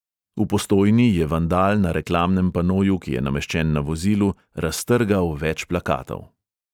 V postojni je vandal na reklamnem panoju, ki je nameščen na vozilu, raztrgal več plakatov.